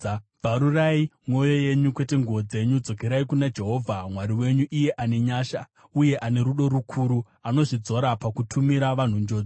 Bvarurai mwoyo yenyu, kwete nguo dzenyu. Dzokerai kuna Jehovha Mwari wenyu, iye ane nyasha uye ane tsitsi, anononoka kutsamwa uye ane rudo rukuru; anozvidzora pakutumira vanhu njodzi.